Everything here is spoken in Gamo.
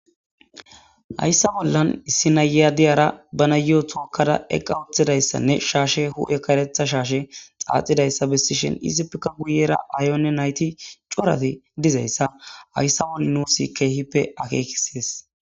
Hayssa bollan issi nayya diyara bana yo7o tookkada eqqa uthidayssanne shaashe hu7e karetha shaashe xaaxidayssa bessishin izippika guyera aayonne nayti corati dizayssa hayssa bolle nuusi keehippe akeekisees